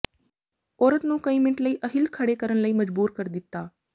ਔਰਤ ਨੂੰ ਕਈ ਮਿੰਟ ਲਈ ਅਹਿੱਲ ਖੜ੍ਹੇ ਕਰਨ ਲਈ ਮਜਬੂਰ ਕਰ ਦਿੱਤਾ